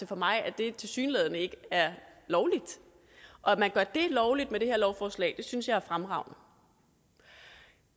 for mig at det tilsyneladende ikke er lovligt og at man gør det lovligt med det her lovforslag synes jeg er fremragende